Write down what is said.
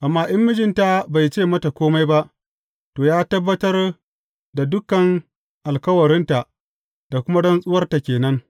Amma in mijinta bai ce mata kome ba, to, ya tabbatar da dukan alkawarinta da kuma rantsuwarta ke nan.